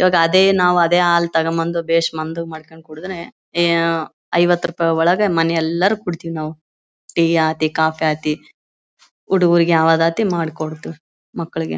ಇವಾಗ ಅದೇ ನಾವು ಅದೇ ಹಾಲ್ ತಗೊಂಡ್ ಬಂದು ಬೇಸ್ ಮಂಜು ಮಾಡ್ಕೊಂಡು ಕೊಡದ್ರೆ ಐವತ್ತು ರೂಪಾಯಿ ಒಳಗೆ ಮನೆಯೆಲ್ಲರೂ ಕೊಡೀತೀವಿ ನಾವು ಟೀ ಆಗ್ಲಿ ಕಾಫಿ ಆಗ್ಲಿ ಹುಡುಗರಿಗೆ ಯಾವದತ್ತಿ ಮಾಡ್ಕೊಡ್ತೀವಿ ಮಕ್ಕಳಿಗೆ.